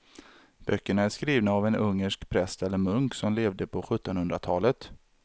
Böckerna är skrivna av en ungersk präst eller munk som levde på sjuttonhundratalet.